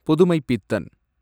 Pudhumaipithan